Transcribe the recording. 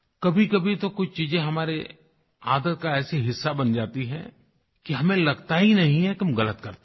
कभीकभी तो कुछ चीज़ें हमारी आदत का ऐसा हिस्सा बन जाती हैं कि हमें लगता ही नहीं है कि हम ग़लत करते हैं